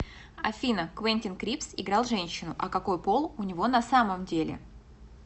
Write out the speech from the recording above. афина квентин крипс играл женщину а какои пол у него на самом деле